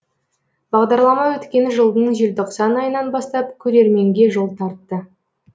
бағдарлама өткен жылдың желтоқсан айынан бастап көрерменге жол тартты